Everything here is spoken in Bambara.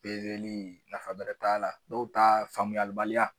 Pezeli nafa bɛrɛ t'a la dɔw ta faamuyalibaliya.